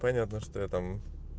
понятно что я там